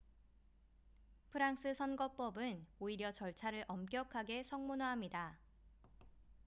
프랑스 선거법은 오히려 절차를 엄격하게 성문화합니다